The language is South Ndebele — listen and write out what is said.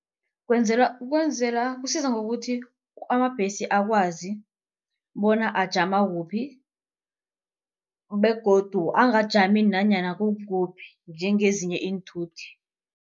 Kwenzela kusiza ngokuthi amabhesi akwazi bona ajama kuphi begodu angajami nanyana kukuphi njengezinye iinthuthi.